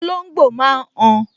Olóngbò máa n han